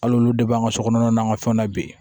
Hali olu de b'an ka sokɔnɔna n'an ka fɛnw na bi